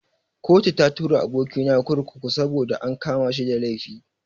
Kotu ta tura aboki na kurkuku saboda an kama shi da laifi.